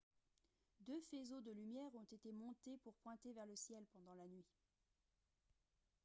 deux faisceaux de lumière ont été montés pour pointer vers le ciel pendant la nuit